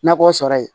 Nakɔ sɔrɔ yen